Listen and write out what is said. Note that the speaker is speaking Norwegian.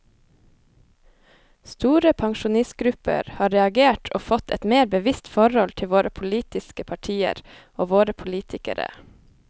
Store pensjonistgrupper har reagert og fått et mer bevisst forhold til våre politiske partier og våre politikere.